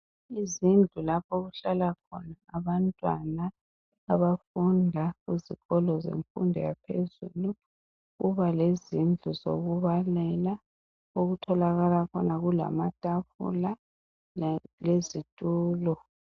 izindlu lapho okuhlala khona abantwana abafunda kuzikolo zemfundo yaphezulu kuba lezindlu zokubalela okutholakala khona kulama tafula lezitulo